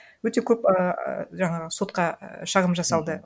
өте көп ііі жаңағы сотқа шағым жасалды